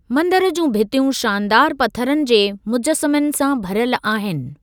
मंदरु जूं भितियूं शानदारु पथरनि जे मुजसमनि सां भरियल आहिनि।